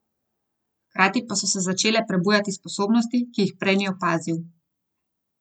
Hkrati pa so se začele prebujati sposobnosti, ki jih prej ni opazil.